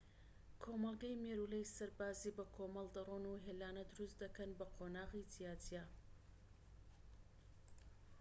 کۆمەڵگەی مێرولەی سەرباز بەکۆمەڵ دەرۆن و هێلانە دروست دەکەن بە قۆناغی جیاجیا